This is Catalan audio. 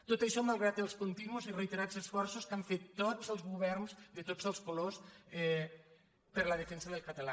tot això mal·grat els continus i reiterats esforços que han fet tots els governs de tots els colors per la defensa del català